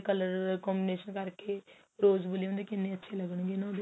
color combination ਕਰਕੇ ਰੋੱਜ Valium ਦੇ ਕਿੰਨੇ ਅੱਛੇ ਲੱਗਣ ਗਏ ਨਾ ਉਹਦੇ